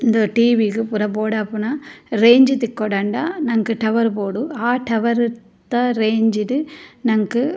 ಉಂದು ಟಿ.ವಿ ಗು ಪೂರ ಬೋಡಾಪುನ ರೇಂಜ್ ತಿಕ್ಕೊಡಾಂಡಾ ನಂಕ್ ಟವರ್ ಬೋಡ್ ಆ ಟವರ್ ದ ರೇಂಜ್ ಡ್ ನಂಕ್ --